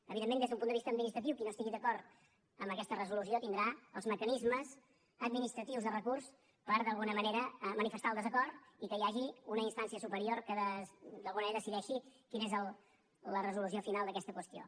evidentment des d’un punt de vista administratiu qui no estigui d’acord amb aquesta resolució tindrà els mecanismes administratius de recurs per d’alguna manera manifestar el desacord i que hi hagi una instància superior que d’alguna manera decideixi quina és la resolució final d’aquesta qüestió